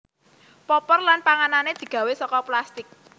Popor lan pegangane digawe saka plastik